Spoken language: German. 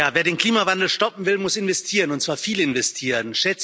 Wer den Klimawandel stoppen will, muss investieren, und zwar viel investieren.